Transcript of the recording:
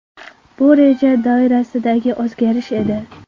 Bu reja doirasidagi o‘zgarish edi.